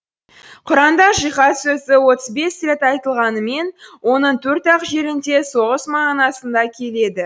құранда жихад сөзі отыз бес рет айтылғанымен оның төрт ақ жерінде соғыс мағынасында келеді